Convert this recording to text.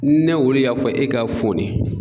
Ne olu y'a fɔ e ka fɔni.